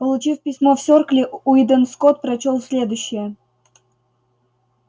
получив письмо в серкле уидон скотт прочёл следующее